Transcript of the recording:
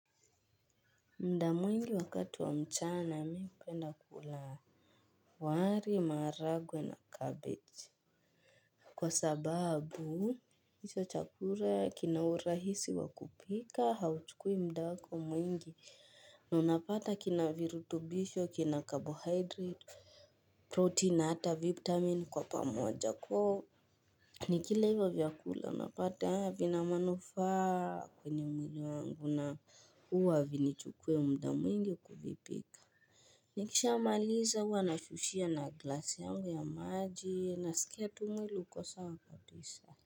Mda mwingi wakati wa mchana mi hupenda kulaa wari maharagwe na cabbage. Kwa sababu iso chakura kina urahisi wa kupika hauchukui mda wako mwingi na unapata kina virutubisho kina carbohydrate protein na hata vitamin kwa pamoja ko. Nikila hivo vyakula napata vina manufaa kwenye mwili wangu na huwa havini chukui mda mwingi kuvipika. Nikisha maliza huwa na shushia na glasi yangu ya maji na sikia tu mwili uko sa wa kabisa.